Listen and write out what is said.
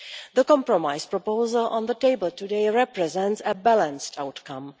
The compromise proposal on the table today represents a balanced outcome.